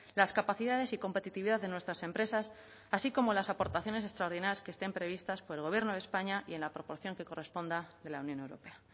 las capacidades y competitividad de nuestras empresas así como las aportaciones extraordinarias que estén previstas por el gobierno de españa y en la proporción que corresponda de la unión europea